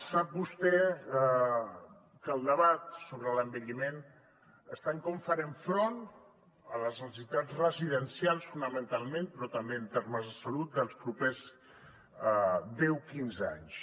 sap vostè que el debat sobre l’envelliment està en com farem front a les necessitats residencials fonamentalment però també en termes de salut dels propers deu quinze anys